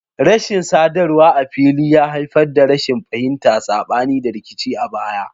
Rashin sadarwa a fili ya haifar da rashin fahimta, sabani, da rikici a baya.